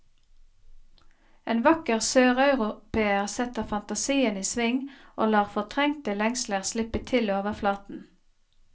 En vakker søreuropeer setter fantasien i sving og lar fortrengte lengsler slippe til overflaten.